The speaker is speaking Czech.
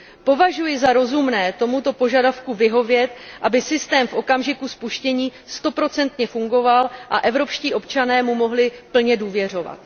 Považuji za rozumné tomuto požadavku vyhovět, aby systém v okamžiku spuštění stoprocentně fungoval a evropští občané mu mohli plně důvěřovat.